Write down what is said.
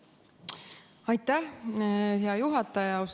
Aitäh, hea juhataja!